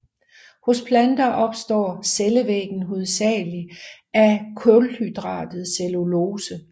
Hos planter består cellevæggen hovedsagelig af kulhydratet cellulose